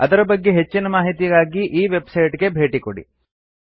ಅದರ ಬಗ್ಗೆ ಹೆಚ್ಚಿನ ಮಾಹಿತಿಗಾಗಿ ಈ ವೆಬ್ಸೈಟ್ ಗೆ ಭೇಟಿ ಕೊಡಿ